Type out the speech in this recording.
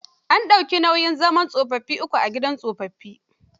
An dauki nauyin zaman tsofaffi uku a gidan tsofaffin.